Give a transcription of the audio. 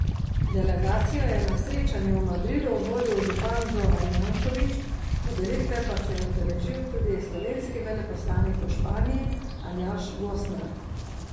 Delegacijo je na srečanju v Madridu vodil župan Zoran Janković, podelitve pa se je udeležil tudi slovenski veleposlanik v Španiji Aljaž Gosnar.